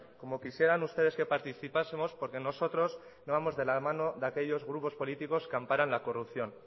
como quisieran ustedes que participásemos porque nosotros no vamos de la mano de aquellos grupos políticos que amparan la corrupción